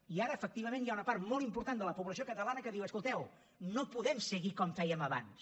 i ara efectivament hi ha una part molt important de la població catalana que diu escolteu no podem seguir com fèiem abans